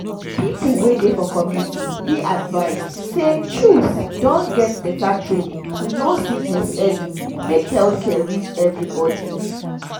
people wey dey for community dey advised say chws don get beta training to know sickness early make health care reach everybody.